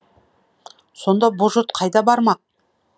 сонда бұ жұрт қайда бармақ